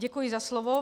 Děkuji za slovo.